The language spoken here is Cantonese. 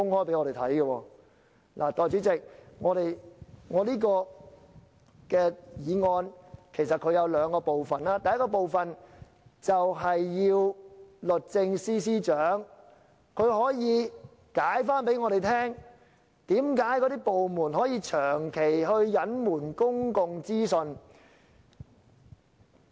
代理主席，我這項議案其實有兩個部分，第一個部分要求律政司司長向我們解釋，為甚麼政府部門可以長期隱瞞公共資訊。